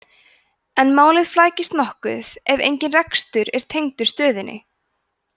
en málið flækist nokkuð ef engin rekstur er tengdur stöðinni